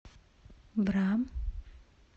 бра